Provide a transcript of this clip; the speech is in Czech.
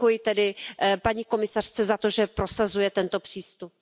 A děkuji tedy paní komisařce za to, že prosazuje tento přístup.